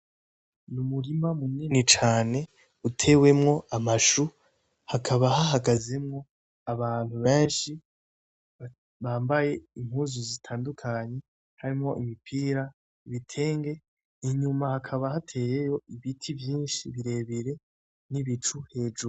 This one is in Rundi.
Ni umurima munini cane utewemwo amashu hakaba hahagazemwo abantu benshi bambaye impuzu zitandukanye harimwo imipira ibitenge inyuma hakaba hateyeyo ibiti vyinshi birebere n'ibicu hejuru.